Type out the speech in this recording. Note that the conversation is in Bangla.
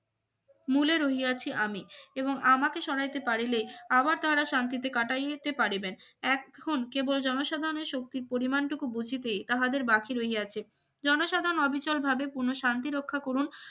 মূলে রই আছি আমি এবং আমাকে সহাইতে পারিলে আবার তারা শান্তিতে কাটিয়ইতে পারিবেন এখন কেবল জনসাধারণের শক্তির পরিমান টুকু বুঝিতে তাহাদের বাকি রইছে জনসাধারণ অবিচলভাবে পূর্ণ শান্তিরক্ষা করুন